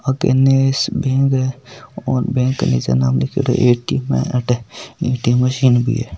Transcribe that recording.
ओ केनस बैंक है और बैंक के नीचे नाम लिख्योडॉ है अठ ऐ.टी.एम. है ऐ.टी.एम. मशीन भी है।